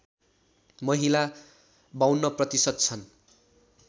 महिला ५२ प्रतिशत छन्